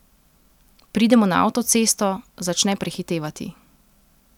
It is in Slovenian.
Pridemo na avtocesto, začne prehitevati.